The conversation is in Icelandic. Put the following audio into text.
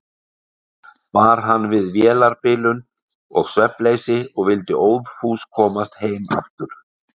Bar hann við vélarbilun og svefnleysi og vildi óðfús komast heim aftur.